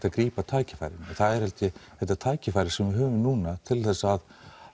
að grípa tækifærin það er held ég þetta tækifæri sem við höfum núna til þess að